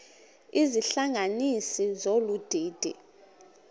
izihlanganisi zolu didi